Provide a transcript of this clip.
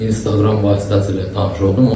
İnstagram vasitəsilə tanış oldum.